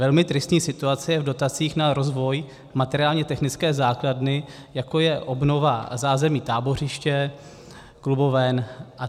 Velmi tristní situace je v dotacích na rozvoj materiálně technické základny, jako je obnova zázemí tábořiště, kluboven atd.